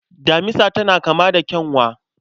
Damisa tana kama da kyanwa.